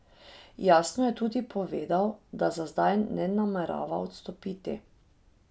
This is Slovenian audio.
Jasno je tudi povedal, da za zdaj ne namerava odstopiti.